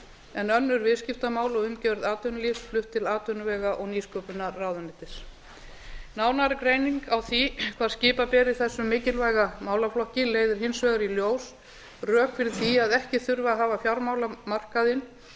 en önnur viðskiptamál og umgjörð atvinnulífs flutt til atvinnuvega og nýsköpunarráðuneytis nánari greining á því hvar skipa beri þessum mikilvæga málaflokki leiðir hins vegar í ljós rök fyrir því að ekki þurfi að hafa fjármálamarkaðinn